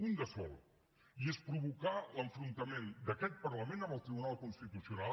un de sol i és provocar l’enfrontament d’aquest parlament amb el tribunal constitucional